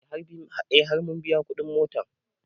E har mun biya kuɗin mota